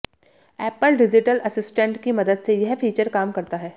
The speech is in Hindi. एप्पल डिजिटल असिस्टेंट की मदद से यह फीचर काम करता है